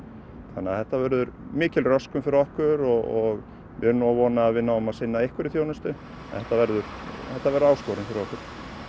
þannig að þetta verður mikil röskun fyrir okkur og við erum nú að vona að við náum að sinna einhverri þjónustu en þetta verður þetta verður áskorun fyrir okkur